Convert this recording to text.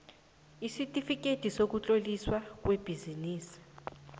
isitifikhethi sokutloliswa kwebhizinisi